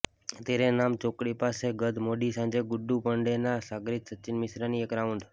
તેરે નામ ચોકડી પાસે ગત મોડી સાંજે ગુડ્ડુ પાંડેના સાગરીત સચીન મિશ્રાની એક રાઉન્ડ